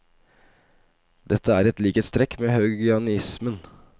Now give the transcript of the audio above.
Dette er et likhetstrekk med haugianismen.